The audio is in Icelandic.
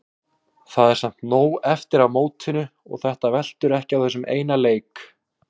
Það er samt nóg eftir af mótinu og þetta veltur ekki á þessum eina leik.